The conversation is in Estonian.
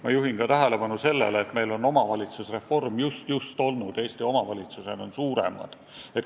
Ma juhin tähelepanu ka sellele, et meil on omavalitsusreform just-just olnud, Eesti omavalitsused on suuremad.